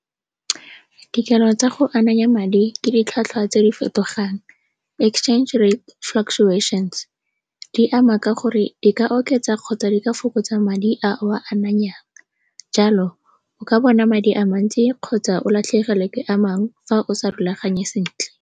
Dikelo tsa go ananya madi ke ditlhwatlhwa tse di fetogang, exchange rate, fluctuations. Di ama ka gore di ka oketsa kgotsa di ka fokotsa madi a o a ananyang. Jalo o ka bona madi a mantsi kgotsa o latlhegelwe ke a mangwe fa o sa rulaganye sentle.